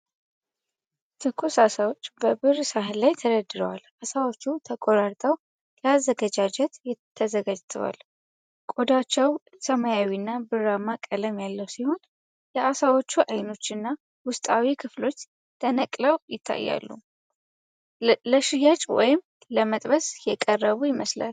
ትኩስ ዓሳዎች በብር ሳህን ላይ ተደርድረዋል። ዓሳዎቹ ተቆራርጠው ለአዘገጃጀት ተዘጋጅተዋል። ቆዳቸው ሰማያዊና ብርማ ቀለም ያለው ሲሆን፣ የዓሳዎቹ አይኖችና ውስጣዊ ክፍሎች ተነቅለው ይታያሉ። ለሽያጭ ወይም ለመጥበስ የቀረቡ ይመስላል።